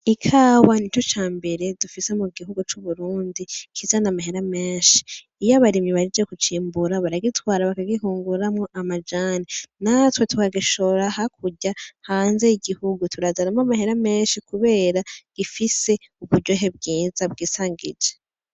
Ikawa nico cambere dufise mu gihugu cacu c'Uburundi kizana amahera menshi. Iyo abarimyi bahejeje kucimbura, baragitwara bakagihinguramwo amajane, natwe tukagishora hakurya, hanze y'igihugu, tukazanamwo amahera menshi kubera gifise uburyohe bwiza bwisangije.